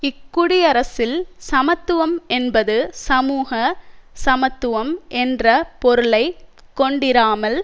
இக்குடியரசில் சமத்துவம் என்பது சமூக சமத்துவம் என்ற பொருளை கொண்டிராமல்